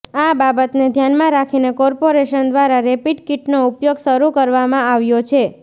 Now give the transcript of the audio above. આ બાબતને ધ્યાનમાં રાખીને કોર્પોરેશન દ્વારા રેપિડ કિટનો ઉપયોગ શરૂ કરવામાં આવ્યો છે